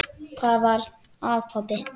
Hvað er að, pabbi?